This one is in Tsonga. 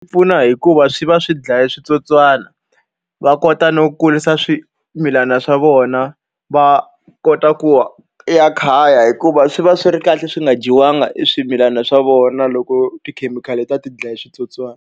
pfuna hi ku va swi va swi dlaya switsotswana. Va kota no kurisa swimilana swa vona va kota ku ya khaya hikuva swi va swi ri kahle swi nga dyiwanga e swimilana swa vona loko tikhemikhali ta va ti dlaye switsotswani.